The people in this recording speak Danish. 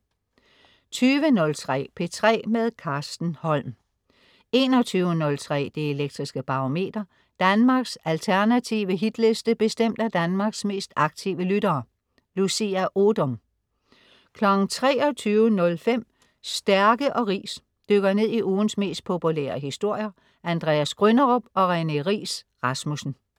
20.03 P3 med Carsten Holm 21.03 Det Elektriske Barometer. Danmarks alternative Hitliste bestemt af Danmarks mest aktive lyttere. Lucia Odoom 23.05 Stærke & Riis. Dykker ned i ugens mest populære historier. Andreas Grynderup og René Riis Rasmussen